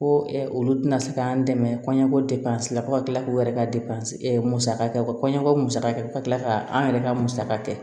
Ko olu tɛna se k'an dɛmɛ kɔɲɔko depansi la fo ka kila k'u yɛrɛ ka musaka kɛ u ka kɔɲɔko musaka kɛ ka tila ka an yɛrɛ ka musaka kɛ